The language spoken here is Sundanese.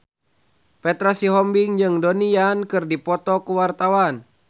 Petra Sihombing jeung Donnie Yan keur dipoto ku wartawan